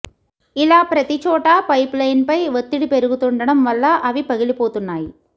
ఇలా ప్రతి చోటా పైపులైన్పై ఒత్తిడి పెరుగుతుండటం వల్ల అవి పగిలిపోతున్నాయి